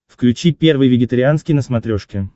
включи первый вегетарианский на смотрешке